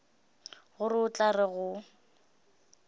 gore o tla re go